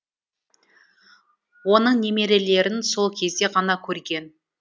оның немерелерін сол кезде ғана көрген